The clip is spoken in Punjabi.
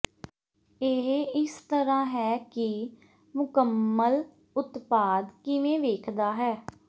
ਇਹ ਇਸ ਤਰ੍ਹਾਂ ਹੈ ਕਿ ਮੁਕੰਮਲ ਉਤਪਾਦ ਕਿਵੇਂ ਵੇਖਦਾ ਹੈ